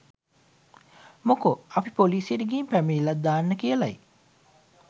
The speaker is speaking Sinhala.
මොකෝ අපි පොලීසියට ගිහින් පැමිණිල්ලක් දාන්න කියලයි.